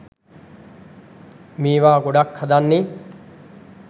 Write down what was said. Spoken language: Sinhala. මේවා ගොඩක් හදන්නේ